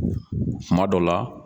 Kuma dɔ la